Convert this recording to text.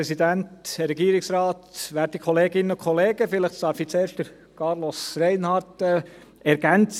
Vielleicht darf ich zuerst Carlos Reinhard ergänzen.